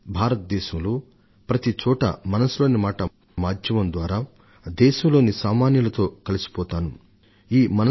భారతదేశంలో ప్రతి చోట మనసు లోని మాట కార్యక్రమం ద్వారా దేశం మూల మూల లోని మీ అందరితోను కలిసిపోవడం నిజంగా నాకెంతో నచ్చింది